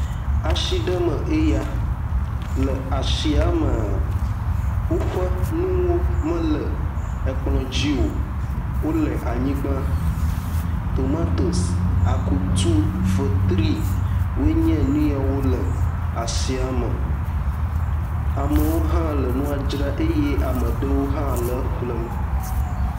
Atsi ɖe me nye ya, le atsiamea, woƒe nuwo mele kplɔ dzi o, wole anyigba, tomatos, akutu, fetri wonye nu yewo le atsia me.